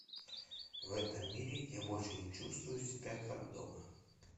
в этом мире я больше не чувствую себя как дома